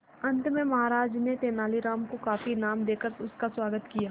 अंत में महाराज ने तेनालीराम को काफी इनाम देकर उसका स्वागत किया